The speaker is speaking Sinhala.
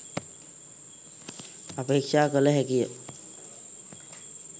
අපේක්‍ෂා කළ හැකි ය.